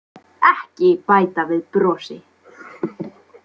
Ekki bæta við brosi.